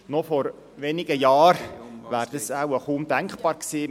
Noch vor wenigen Jahren wäre dies kaum denkbar gewesen.